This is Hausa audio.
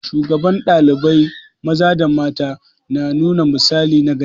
Shugaban ɗalibai maza da mata na nuna misali nagari.